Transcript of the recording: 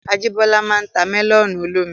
Ajíbọ́lá máa n ta mẹ́lọ̀nù olómi